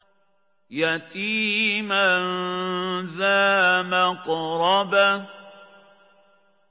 يَتِيمًا ذَا مَقْرَبَةٍ